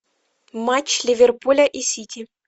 матч ливерпуля и сити